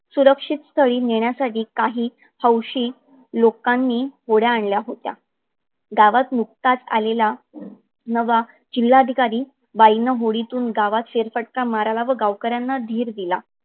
सुरक्षित स्थळी नेन्यासाठी काही हौशी लोकांनी होड्या आणल्या होत्या. गावात नुकताच आलेला नवा जिल्हाधिकरी बाईन होडीतून गावात फेरफटका माराव आणि गावकऱ्यांना धीर दिला.